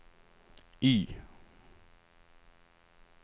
Y